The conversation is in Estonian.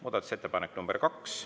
Muudatusettepanek nr 2.